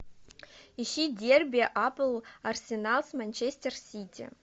ищи дерби апл арсенал с манчестер сити